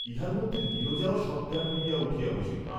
ইহার মধ্যে নীরজাও সজ্ঞান হইয়া উঠিয়া বসিল।